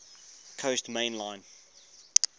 coast main line